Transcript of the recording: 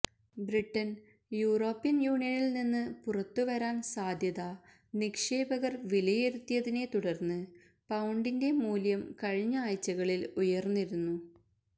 ബ്രിട്ടന് European യൂണിയനില് നിന്ന് പുറത്തുവരാന് സാധ്യത നിക്ഷേപകര് വിലയിരുത്തിയതിനെത്തുടര്ന്ന് പൌണ്ടിന്റെ മൂല്യം കഴിഞ്ഞ ആഴ്ചകളില് ഉയര്ന്നിരുന്നു